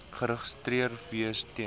geregistreer wees ten